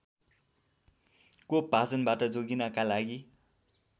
कोपभाजनबाट जोगिनका लागि